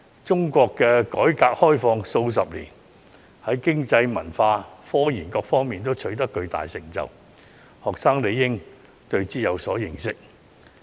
中國改革開放數十年，在經濟、文化、科研等各方面皆取得巨大成就，學生理應有所認識。